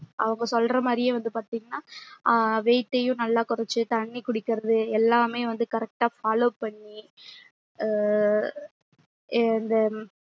அவங்க சொல்றமாறியே வந்து பாத்திங்கன்னா ஆஹ் weight ய்யும் நல்லா கொறச்சி தண்ணி குடிக்கிறது எல்லாமே வந்து correct ட்டா follow பண்ணி அஹ் இந்த